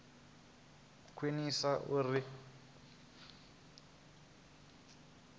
u khwinisea uri vha wane